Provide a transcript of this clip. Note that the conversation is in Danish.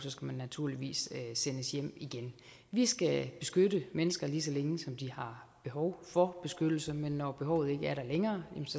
skal man naturligvis sendes hjem igen vi skal beskytte mennesker lige så længe som de har behov for beskyttelse men når behovet ikke er der længere